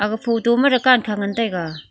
aga photo ma dukan kha ngan tega.